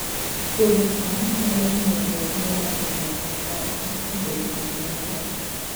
Puodho cham nyalo miyo joot modak e gwenge ma oko obed gi ngima maber